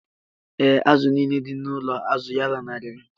Ee, azụ̀ nile dị n’ụlọ azụ̀ ya lanarịrị.